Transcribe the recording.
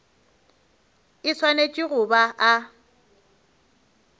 e swanetše go ba a